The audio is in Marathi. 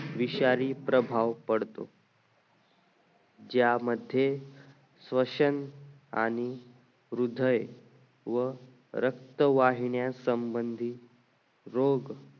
विषारी प्रभाव पडतो ज्या मध्ये श्वसन आणि हृदय व रक्त वाहिन्या संभंधित रोज